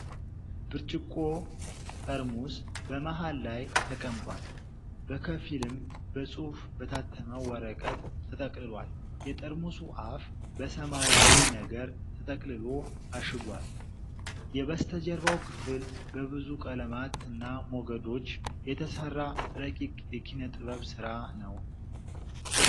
ብርጭቆ ጠርሙስ በመሃል ላይ ተቀምጧል፤ በከፊልም በጽሑፍ በታተመ ወረቀት ተጠቅልሏል። የጠርሙሱ አፍ በሰማያዊ ነገር ተጠቅልሎ ታሽጓል። የበስተጀርባው ክፍል በብዙ ቀለማት እና ሞገዶች የተሰራ ረቂቅ የኪነ-ጥበብ ስራ ነው።